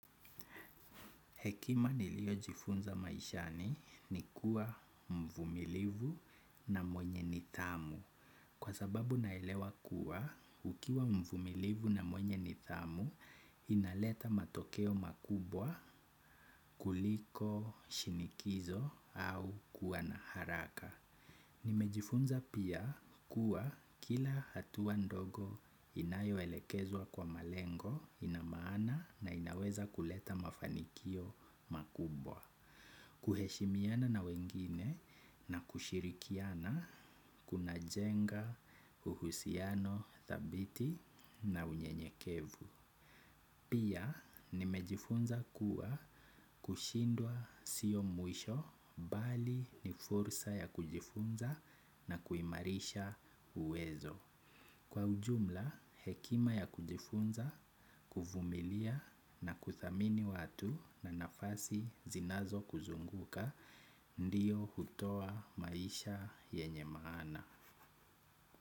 Hekima niliojifunza maishani ni kuwa mvumilivu na mwenye nidhamu. Kwa sababu naelewa kuwa, ukiwa mvumilivu na mwenye nidhamu, inaleta matokeo makubwa kuliko shinikizo au kuwa na haraka. Nimejifunza pia kuwa kila hatua ndogo inayoelekezwa kwa malengo ina maana na inaweza kuleta mafanikio makubwa. Kuheshimiana na wengine na kushirikiana kunajenga uhusiano thabiti na unyenyekevu. Pia nimejifunza kuwa kushindwa sio mwisho bali ni fursa ya kujifunza na kuimarisha uwezo. Kwa ujumla hekima ya kujifunza, kuvumilia na kuthamini watu na nafasi zinazokuzunguka ndiyo hutoa maisha yenye maana.